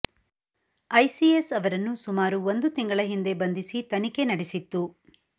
ICS ಅವರನ್ನು ಸುಮಾರು ಒಂದು ತಿಂಗಳ ಹಿಂದೆ ಬಂಧಿಸಿ ತನಿಖೆ ನಡೆಸಿತ್ತು